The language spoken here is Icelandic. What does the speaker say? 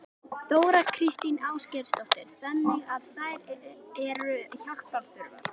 Þóra Kristín Ásgeirsdóttir: Þannig að þær eru hjálpar þurfi?